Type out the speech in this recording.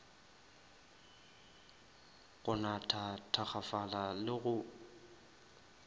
go natha thakgafala le go